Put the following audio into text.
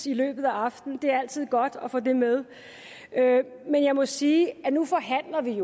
i løbet af aftenen det er altid godt at få det med men jeg må sige at nu forhandler vi